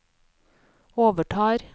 overtar